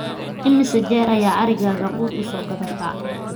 imise jeer ayaa arigaaga quud u so gadataa